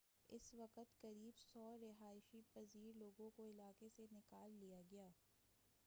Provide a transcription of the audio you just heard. اس وقت قریب 100 رہائش پزیر لوگوں کو علاقے سے نکال لیا گیا